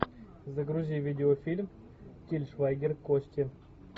загрузи видеофильм тиль швайгер кости